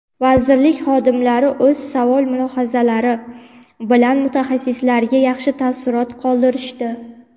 vazirlik xodimlari o‘z savol va mulohazalari bilan mutaxassislarga yaxshi taassurot qoldirishdi.